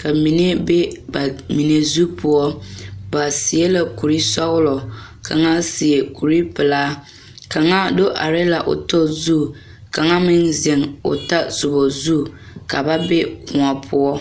ka mine be ba mine zu poɔ ba seɛ la kurisɔglɔ kaŋa seɛ kuripelaa kaŋa do are la o tɔ zu kaŋa meŋ zeŋ o tɔsoba zu ka ba be koɔ poɔ.